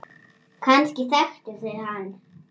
Kannski þekktu þau hann.